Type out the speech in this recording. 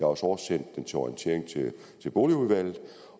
også oversendt den til orientering til boligudvalget